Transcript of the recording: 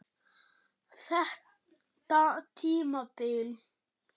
Þetta tímabil?